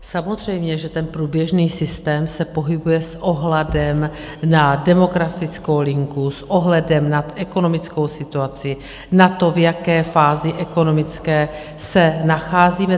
Samozřejmě že ten průběžný systém se pohybuje s ohledem na demografickou linku, s ohledem na ekonomickou situaci, na to, v jaké fázi ekonomické se nacházíme.